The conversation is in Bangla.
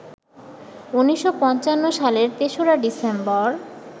১৯৫৫ সালের ৩রা ডিসেম্বর